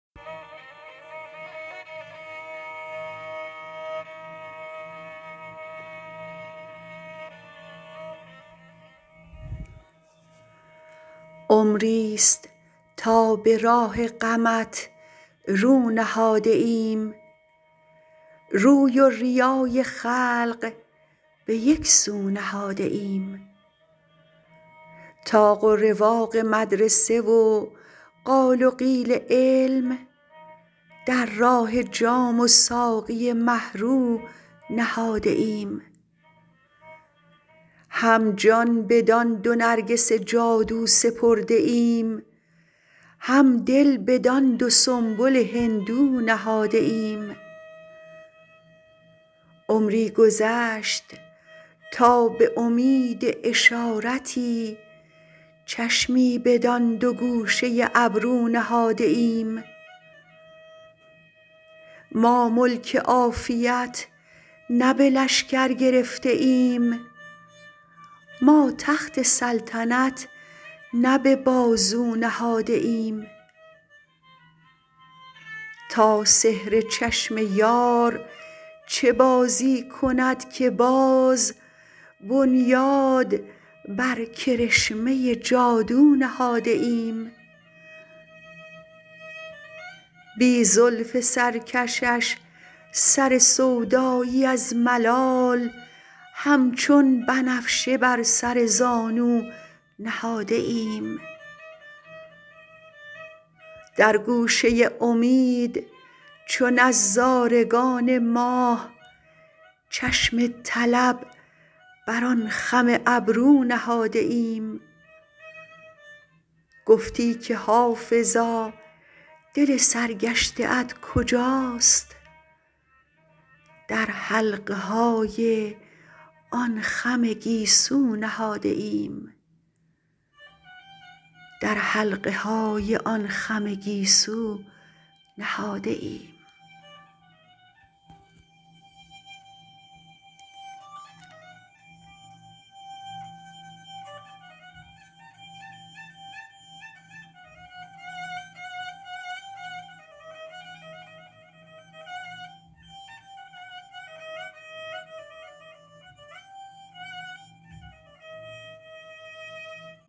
عمریست تا به راه غمت رو نهاده ایم روی و ریای خلق به یک سو نهاده ایم طاق و رواق مدرسه و قال و قیل علم در راه جام و ساقی مه رو نهاده ایم هم جان بدان دو نرگس جادو سپرده ایم هم دل بدان دو سنبل هندو نهاده ایم عمری گذشت تا به امید اشارتی چشمی بدان دو گوشه ابرو نهاده ایم ما ملک عافیت نه به لشکر گرفته ایم ما تخت سلطنت نه به بازو نهاده ایم تا سحر چشم یار چه بازی کند که باز بنیاد بر کرشمه جادو نهاده ایم بی زلف سرکشش سر سودایی از ملال همچون بنفشه بر سر زانو نهاده ایم در گوشه امید چو نظارگان ماه چشم طلب بر آن خم ابرو نهاده ایم گفتی که حافظا دل سرگشته ات کجاست در حلقه های آن خم گیسو نهاده ایم